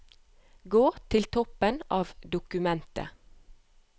Gå til toppen av dokumentet